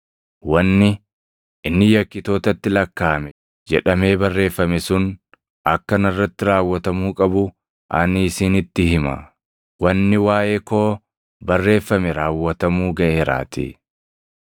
Wanni, ‘Inni yakkitootatti lakkaaʼame’ + 22:37 \+xt Isa 53:12\+xt* jedhamee barreeffame sun akka narratti raawwatamuu qabu ani isinitti hima; wanni waaʼee koo barreeffame raawwatamuu gaʼeeraatii.”